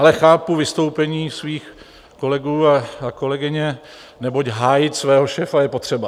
Ale chápu vystoupení svých kolegů a kolegyně, neboť hájit svého šéfa je potřeba.